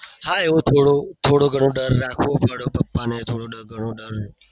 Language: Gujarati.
હા એવો થોડો થોડો ગણો ડર રાખવો પડે પાપાને થોડો ગણો ડર